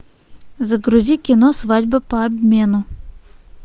загрузи кино свадьба по обмену